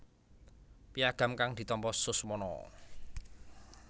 Piagam kang ditampa Suswono